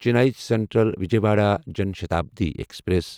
Chennai central Vijayawada Jan Shatabdi express